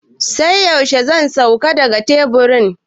Sai yaushe zan sauka daga teburin?